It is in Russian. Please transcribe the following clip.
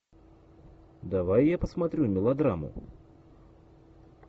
давай я посмотрю мелодраму